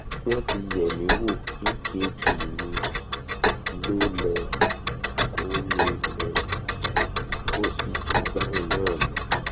wọ́n ti yẹ̀ mí wò ekg mi lọọlẹ̀ kol mi lọọlẹ̀ kol sì ju báhun náà lọ